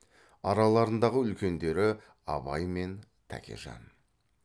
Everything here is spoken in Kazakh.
араларындағы үлкендері абай мен тәкежан